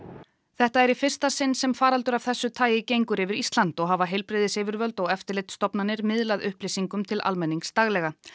þetta er í fyrsta sinn sem faraldur af þessu tagi gengur yfir Ísland og hafa heilbrigðisyfirvöld og eftirlitsstofnanir miðlað upplýsingum til almennings daglega